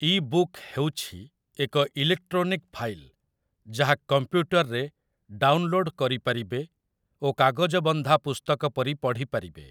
E book' ହେଉଛି ଏକ electronic file ଯାହା କମ୍ପ୍ୟୁଟରରେ ଡାଉନଲୋଡ୍ କରିପାରିବେ ଓ କାଗଜବନ୍ଧା ପୁସ୍ତକ ପରି ପଢ଼ିପାରିବେ ।